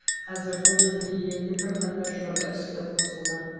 қазірдің өзінде елде бірқатар жоба іске қосылған